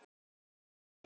Það sló mig fyrst.